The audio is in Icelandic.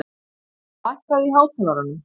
Líba, lækkaðu í hátalaranum.